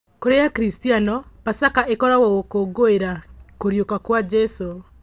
Kũrĩ akristiano pasaka ĩkoragwo gũkũngũĩra kũriũka kwa Jesu.